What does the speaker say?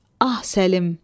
Ah, Səlim.